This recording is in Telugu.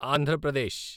ఆంధ్ర ప్రదేశ్